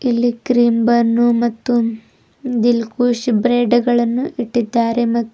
ಇಲ್ಲಿ cream bun ಮತ್ತು Dilkush bread ಗಳನ್ನು ಇಟ್ಟಿದ್ದಾರೆ ಮತ್ತು--